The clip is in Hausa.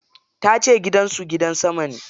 Ta ce gidan su gidan sama ne.